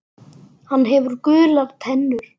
Hann hefur gular tennur.